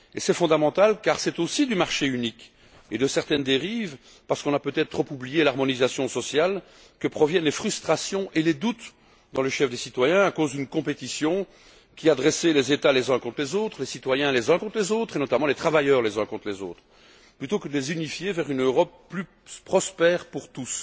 C'est fondamental car c'est aussi du marché unique et de certaines dérives, parce qu'on a peut être trop oublié l'harmonisation sociale, que proviennent les frustrations et les doutes dans le chef des citoyens à cause d'une compétition qui a dressé les États les uns contre les autres, les citoyens les uns contre les autres et, notamment, les travailleurs les uns contre les autres, plutôt que de les unifier dans une Europe plus prospère pour tous.